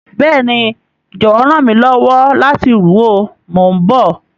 Béèni, jọwọ ran mi lọwọ lati ru o, mo n bọ.